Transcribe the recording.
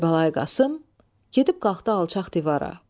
Kərbəlayi Qasım gedib qalxdı alçaq divara.